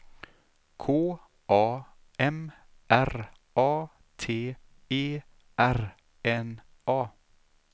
K A M R A T E R N A